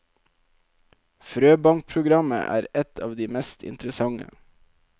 Frøbankprogrammet er et av de mest interessante.